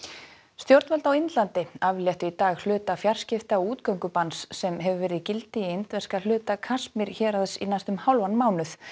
stjórnvöld á Indlandi afléttu í dag hluta fjarskipta og útgöngubanns sem hefur verið gildi í indverska hluta Kasmír héraðs í næstum hálfan mánuð